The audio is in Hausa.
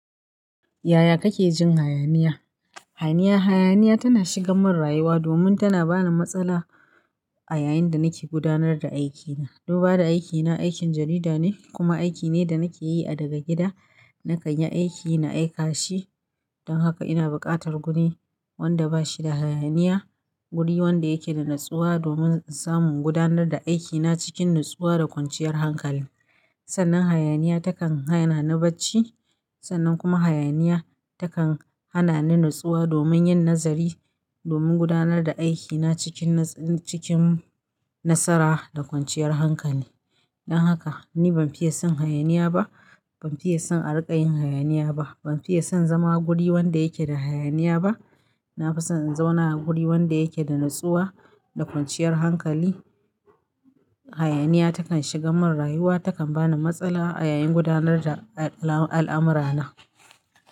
Yaya kake jin hayaniya? Hayaniya, hayaniya tana shigan mun rayuwa domin tana bani matsala a yayin da nake gudanar da aikina. Duba da aikina, aikin jarida ne kuma aiki ne da nake yi a daga gida. Na kanyi aiki na aika shi. Don haka ina buƙatar guri wanda bashi da hayaniya. Guri wanda yake da natsuwa domin in samu gudanar da aikina cikin natsuwa da kwanciyar hankali. Sannan hayaniya takan hana ni bacci. Sannan kuma hayaniya takan hana ni natsuwa domin yin nazari, domin gudanar da aikina cikin naz-- cikin nasara da kwanciyar hankali. Don haka ni ban fiye son hayaniya ba. Ban fiye son a riƙa yin hayaniya ba. Ban fiye son zama guri wanda yake da hayaniya ba. Na fi son in zauna a guri wanda yake da natsuwa da kwanciyar hankali. Hayaniya takan shigan mun rayuwa, takan bani matsala a yayin gudanar da al'am-- al'amurana.